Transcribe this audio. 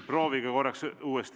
Proovige korraks uuesti.